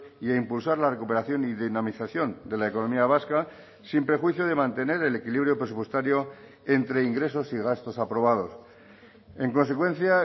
y a impulsar la recuperación y dinamización de la economía vasca sin prejuicio de mantener el equilibrio presupuestario entre ingresos y gastos aprobados en consecuencia